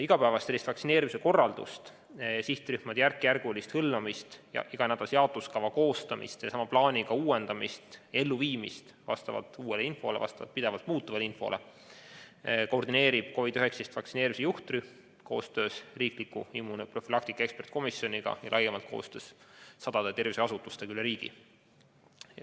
Igapäevast vaktsineerimise korraldust, sihtrühmade järkjärgulist hõlmamist, iganädalase jaotuskava koostamist ning sama plaani uuendamist ja elluviimist vastavalt uuele, pidevalt muutuvale infole koordineerib COVID-19 vaktsineerimise juhtrühm koostöös riikliku immunoprofülaktika eksperdikomisjoniga ja laiemalt koostöös sadade terviseasutustega üle riigi.